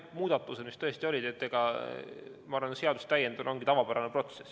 Jah, muudatused tõesti on, ma arvan, et seaduste täiendamine ongi tavapärane protsess.